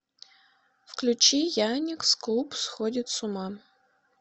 включи яникс клуб сходит с ума